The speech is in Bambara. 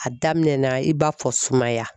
A daminɛ na i b'a fɔ sumaya